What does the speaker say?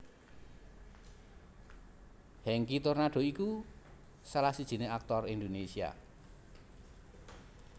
Hengky Tornando iku salah sijiné aktor Indonesia